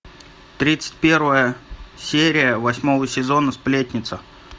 тридцать первая серия восьмого сезона сплетница